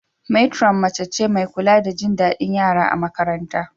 Matron mace ce mai kula da jin daɗin yara a makarantar.